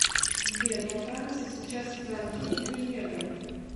сбер во франции сейчас франки или евро